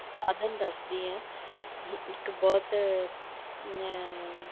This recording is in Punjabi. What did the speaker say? ਸਾਧਨ ਦੱਸਦੀ ਹਾਂ ਇੱਕ ਬਹੁਤ ਮੈਂ